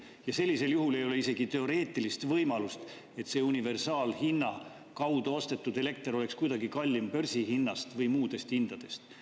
Ja sellisel juhul ei ole isegi teoreetilist võimalust, et see universaalhinna kaudu ostetud elekter oleks kuidagi kallim börsihinnast või muudest hindadest.